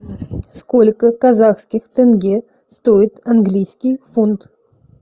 сколько казахских тенге стоит английский фунт